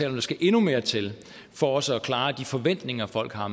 at der skal endnu mere til for også at klare de forventninger folk har